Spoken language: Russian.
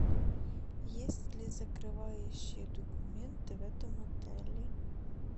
есть ли закрывающие документы в этом отеле